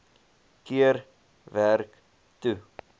keer werk toe